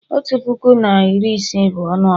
otu puku na iri isii bụ ọnụọgụgụ